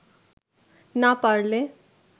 না পারলে